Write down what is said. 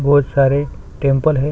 बहोत सारे टेम्पल है।